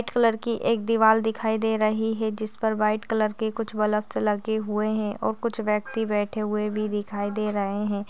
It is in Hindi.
कलर की एक दीवाल दिखाई दे रही है जिस पर व्हाइट कलर के कुछ बल्बस लगे हुए है और कुछ व्यक्ति बैठे हुए भी दिखाए दे रहे हैं।